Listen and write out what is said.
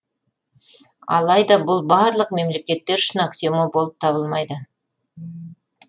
алайда бұл барлық мемлекеттер үшін аксиома болып табылмайды